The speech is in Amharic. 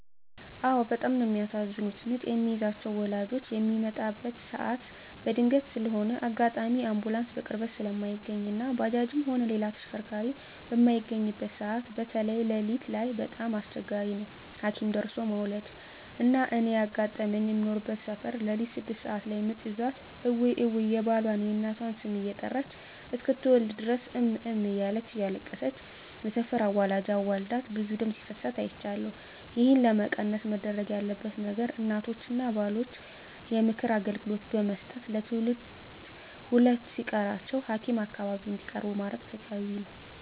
አዎ በጣም ነው የሚያሳዝኑት ምጥ የሚይዛቸው ወላጆች ሚመጣበት ሰዓት በድንገት ስለሆነ አጋጣሚ አንቡላንስ በቅርበት ስለማይገኝ እና ባጃጅም ሆነ ሌላ ተሽከርካሪ በማይገኝበት ሰዓት በተይ ለሊት ላይ በጣም አስቸጋሪ ነው ሀኪም ደርሦለ መዉለድ። እና እኔ ያጋጠመኝ ምኖርበት ሰፈር ለሊት ስድስት ሰዓት ላይ ምጥ ይዟት እውይ እውይ የባሏን፣ የእናቷን ስም እየጠራች እስክትወልድ ድረስ እም እም እያለች እያለቀሰች የሰፈር አዋላጅ አዋልዳት ብዙ ደም ሲፈሳት አይቻለሁ። ይህን ለመቀነስ መደረግ ያለበት ነገር እናቶችን እና ባሎችን የምክር አገልግሎት ብመስጠት ለትውልድ ሁለት ሲቀራቸው ሀኪም አካባቢ እንዲቀርቡ ማድረግ ተገቢ ነው።